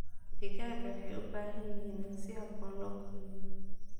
Digaagga waxay u baahan yihiin in si habboon loo koriyo.